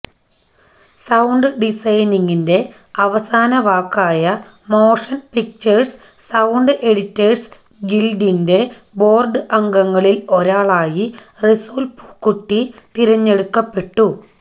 sound ഡിസൈനിംഗിന്റെ അവസാന വാക്കായ മോഷന് പിക്ചര് സൌണ്ട് എഡിറ്റേഴ്സ് ഗില്ഡിന്റെ ബോര്ഡ് അംഗങ്ങളില് ഒരാളായി റസൂല് പൂക്കുട്ടി തെരഞ്ഞെടുക്കപ്പെട്ടു